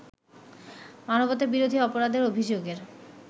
মানবতাবিরোধী অপরাধের অভিযোগের